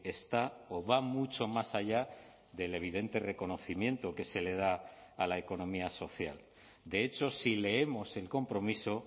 está o va mucho más allá del evidente reconocimiento que se le da a la economía social de hecho si leemos el compromiso